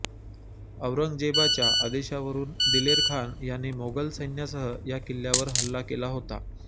औरंगजेबाच्या आदेशावरून दिलेरखान याने मोगल सैन्यासह या किल्ल्यावर हल्ला केला होता